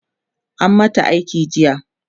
an mata aiki jiya